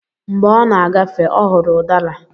Mgbé ọ na-agafe, ọ hụrụ udara